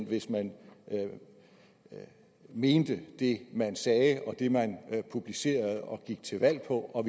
hvis man mente det man sagde og det man publicerede og gik til valg på og